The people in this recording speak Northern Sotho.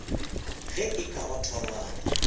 ge e ka ba thorwana